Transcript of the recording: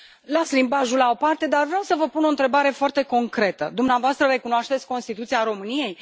Las limbajul la o parte, dar vreau să vă pun o întrebare foarte concretă dumneavoastră recunoașteți Constituția României?